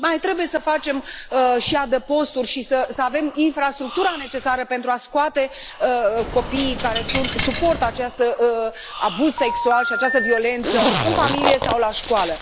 Și mai trebuie să facem și adăposturi și să avem infrastructura necesară pentru a scoate copiii care suportă acest abuz sexual și această violență în familie sau la școală.